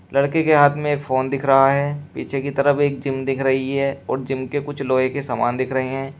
लड़के के हाथ में एक फोन दिख रहा है। पीछे की तरफ एक जिम दिख रही है और जिम के कुछ लोहे के समान दिख रहे हैं।